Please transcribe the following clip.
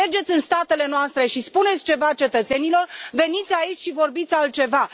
Mergeți în statele noastre și spuneți ceva cetățenilor, veniți aici și vorbiți altceva.